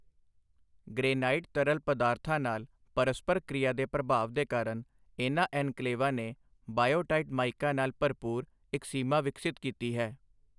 Granite ਤਰਲ ਪਦਾਰਥਾਂ ਨਾਲ ਪਰਸਪਰ ਕ੍ਰਿਆ ਦੇ ਪ੍ਰਭਾਵ ਦੇ ਕਾਰਨ, ਇਨ੍ਹਾਂ ਐਨਕਲੇਵਾਂ ਨੇ ਬਾਇਓਟਾਈਟ ਮਾਈਕਾ ਨਾਲ ਭਰਪੂਰ ਇੱਕ ਸੀਮਾ ਵਿਕਸਿਤ ਕੀਤੀ ਹੈ।